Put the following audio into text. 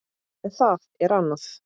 En það er annað.